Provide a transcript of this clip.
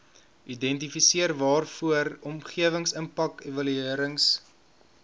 identifiseer waarvoor omgewingsimpakevaluerings